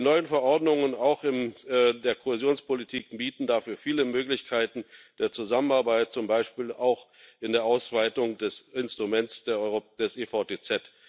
Die neuen Verordnungen auch der Kohäsionspolitik bieten dafür viele Möglichkeiten der Zusammenarbeit, zum Beispiel auch in der Ausweitung des Instruments EVTZ.